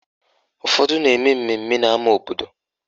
Ụfọdụ na-eme mmemme n'ama obodo